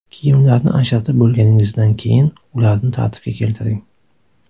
Kiyimlarni ajratib bo‘lganingizdan keyin, ularni tartibga keltiring.